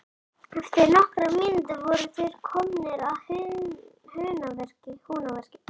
Eftir nokkrar mínútur voru þeir komnir að Húnaveri.